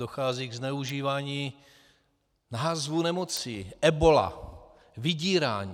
Dochází ke zneužívání názvů nemocí - ebola, vydírání.